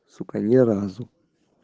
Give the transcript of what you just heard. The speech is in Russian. сука ни разу